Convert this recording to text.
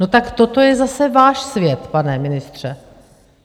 No tak toto je zase váš svět, pane ministře.